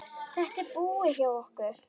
Þetta er búið hjá okkur!